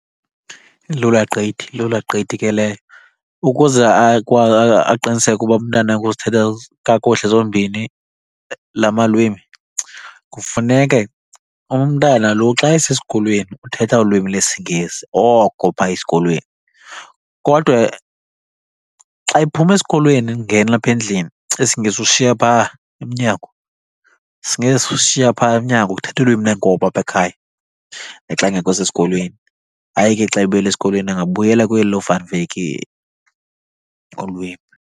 Ilula gqithi, ilula gqithi ke leyo. Ukuze aqiniseke uba umntana wakhe uzithetha kakuhle zombini la malwimi kufuneke umntana lo xa esesikolweni uthetha ulwimi lesiNgesi oko phaa esikolweni, kodwa xa ephuma esikolweni engena apha endlini isiNgesi usishiya phaa emnyango. IsiNgesi usishiya phaa emnyango, uthetha ulwimi lweenkobe apha ekhaya naxa engekho sesikolweni. Hayi ke xa ebuyele esikolweni angabuyela kweli loVan Wyk ulwimi.